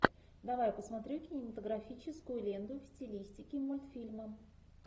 давай посмотрю кинематографическую ленту в стилистике мультфильма